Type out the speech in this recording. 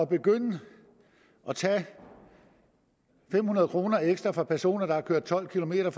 begynde at tage fem hundrede kroner ekstra fra personer der har kørt tolv kilometer